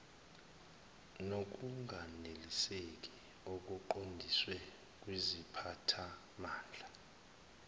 nokunganeliseki okuqondiswe kuziphathimandla